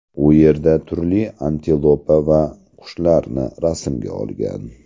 U yerda turli antilopa va qushlarni rasmga olgan.